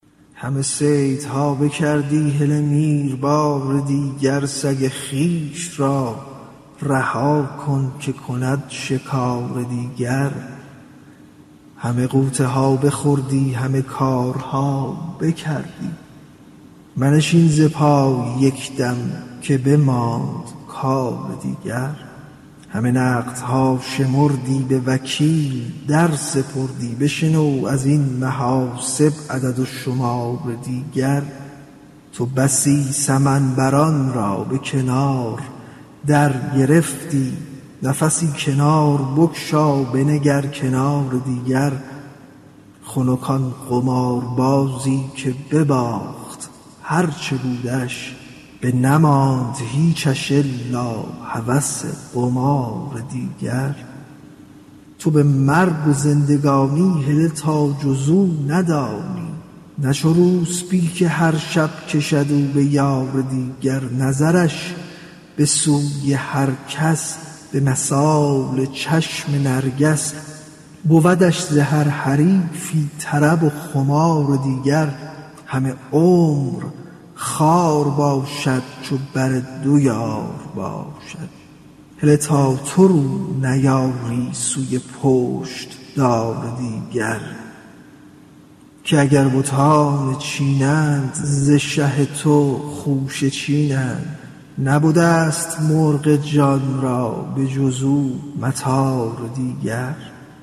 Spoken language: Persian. همه صیدها بکردی هله میر بار دیگر سگ خویش را رها کن که کند شکار دیگر همه غوطه ها بخوردی همه کارها بکردی منشین ز پای یک دم که بماند کار دیگر همه نقدها شمردی به وکیل در سپردی بشنو از این محاسب عدد و شمار دیگر تو بسی سمن بران را به کنار درگرفتی نفسی کنار بگشا بنگر کنار دیگر خنک آن قماربازی که بباخت آ ن چه بودش بنماند هیچش الا هوس قمار دیگر تو به مرگ و زندگانی هله تا جز او ندانی نه چو روسپی که هر شب کشد او به یار دیگر نظرش به سوی هر کس به مثال چشم نرگس بودش ز هر حریفی طرب و خمار دیگر همه عمر خوار باشد چو بر دو یار باشد هله تا تو رو نیاری سوی پشت دار دیگر که اگر بتان چنین اند ز شه تو خوشه چینند نبده ست مرغ جان را به جز او مطار دیگر